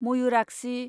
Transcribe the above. Mayurakshi